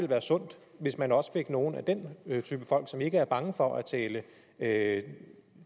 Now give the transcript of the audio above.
være sundt hvis man også fik nogle af den type folk som ikke er bange for at tale at